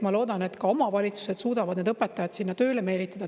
Ma loodan, et omavalitsused suudavad need õpetajad sinna ka tööle meelitada.